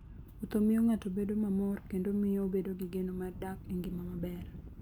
Wuotho miyo ng'ato bedo mamor kendo miyo obedo gi geno mar dak e ngima maber.